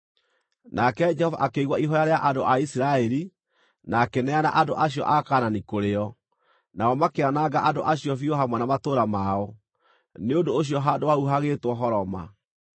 Nake Jehova akĩigua ihooya rĩa andũ a Isiraeli na akĩneana andũ acio a Kaanani kũrĩ o. Nao makĩananga andũ acio biũ hamwe na matũũra mao; nĩ ũndũ ũcio handũ hau hagĩĩtwo Horoma.